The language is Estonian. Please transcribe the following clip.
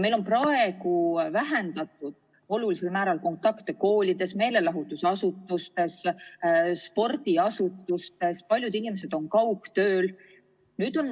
Meil on praeguseks vähendatud olulisel määral kontakte koolides ning meelelahutus- ja spordiasutustes, paljud inimesed on kaugtööl.